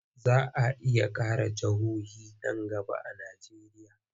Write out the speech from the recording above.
Za a iya ƙara jihohi nan gaba a Najeriya.